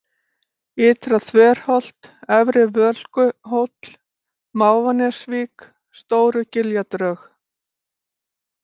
Ytra-þverholt, Efri-Völkuhóll, Mávanesvík, Stórugiljadrög